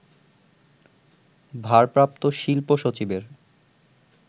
ভারপ্রাপ্ত শিল্প সচিবের